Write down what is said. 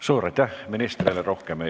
Suur aitäh ministrile!